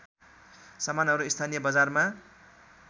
सामानहरू स्थानीय बजारमा